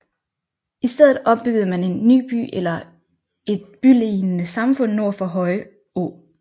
I stedet opbyggede man en ny by eller et bylignende samfund nord for Høje å